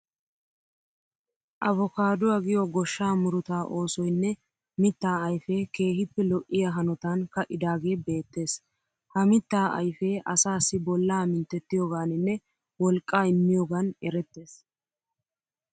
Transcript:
Avokaadduwa giyo goshshaa murutaa oosoyinne mittaa ayifee keehippe lo'iya hanotan ka'idaagee beettees. Ha mittaa ayifee asaassi bollaa minttiyogaaninne woliqqaa immiyogaan erettees.